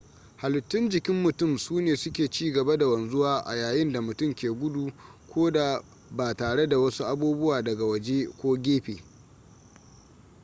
halittun jikin mutum sune suke ci gaba da wanzuwa a yayin da mutum ke gudu ko da ba tare da wasu abubuwa daga waje/gefe